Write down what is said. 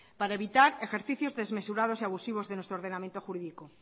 para evitar ejercicios desmesurados y abusivos de nuestro ordenamiento jurídico